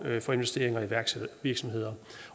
for investeringer i iværksættervirksomheder